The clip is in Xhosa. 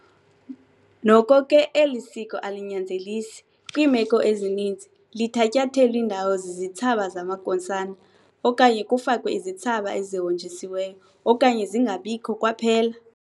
Noko ke, eli siko alinyanzelisi, kwiimeko ezininzi lithatyathelw' indawo zizithsaba zamankosana okanye kufakwe izithsaba ezihonjisiweyo okanye zingabikho kwaphela.